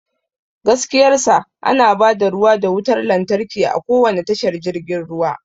Gaskiyar sa, ana ba da ruwa da wutar lantarki a kowane tashar jirgin ruwa.